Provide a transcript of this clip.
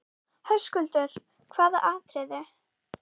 Höskuldur: Hvaða atriðið?